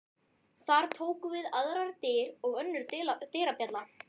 Þar tóku við aðrar dyr og önnur dyrabjalla.